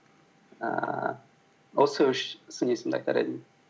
ііі осы үш сын есімді айтар едім